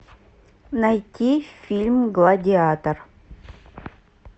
найти фильм гладиатор